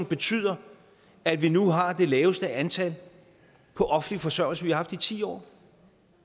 betyder at vi nu har det laveste antal på offentlig forsørgelse vi har haft i ti år